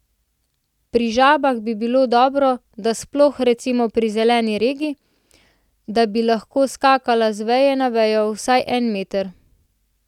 Pri žabah bi bilo dobro, sploh recimo pri zeleni regi, da bi lahko skakala z veje na vejo vsaj en meter.